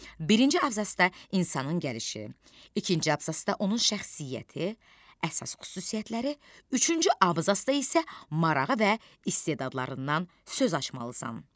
Birinci abzasda insanın gəlişi, ikinci abzasda onun şəxsiyyəti, əsas xüsusiyyətləri, üçüncü abzasda isə marağı və istedadlarından söz açmalısan.